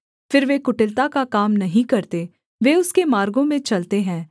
फिर वे कुटिलता का काम नहीं करते वे उसके मार्गों में चलते हैं